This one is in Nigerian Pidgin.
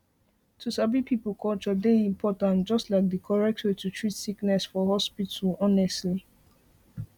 to sabi people culture dey important just like di correct way to treat sickness for for hospital honestly